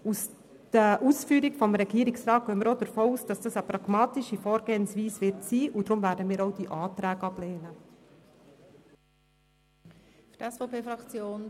Aufgrund der Ausführungen des Regierungsrats gehen wir auch davon aus, dass diese Vorgehensweise pragmatisch ist.